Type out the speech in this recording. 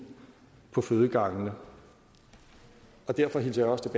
på fødegangene derfor hilser jeg også